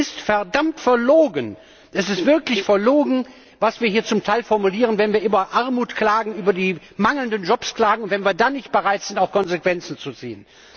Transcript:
Es ist verdammt verlogen, es ist wirklich verlogen, was wir hier zum Teil formulieren, wenn wir über Armut, über die mangelnden Jobs klagen und dann nicht bereit sind, auch Konsequenzen zu ziehen.